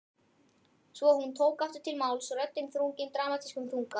Svo tók hún aftur til máls, röddin þrungin dramatískum þunga